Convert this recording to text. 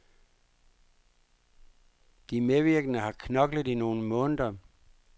De medvirkende har knoklet i nogle måneder.